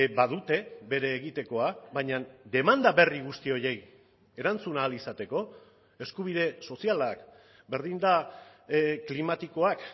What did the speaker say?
badute bere egitekoa baina demanda berri guzti horiei erantzun ahal izateko eskubide sozialak berdin da klimatikoak